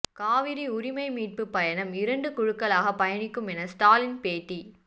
காவிரி உரிமை மீட்புப் பயணம் இரண்டு குழுக்களாக பயணிக்கும் என ஸ்டாலின் பேட்டி